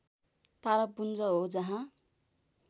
तारापुञ्ज हो जहाँ